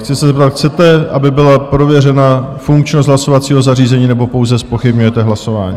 Chci se zeptat: chcete, aby byla prověřena funkčnost hlasovacího zařízení, nebo pouze zpochybňujete hlasování?